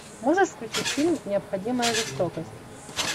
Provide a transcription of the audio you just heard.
можешь включить фильм необходимая жестокость